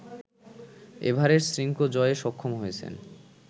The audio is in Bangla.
এভারেস্ট শৃঙ্গ জয়ে সক্ষম হয়েছেন